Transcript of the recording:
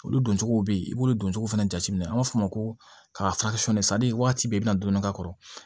Olu doncogow bɛ yen i b'olu don cogo fana jateminɛ an b'a fɔ o ma ko ka waati bɛɛ i bɛna don dɔ k'a kɔrɔ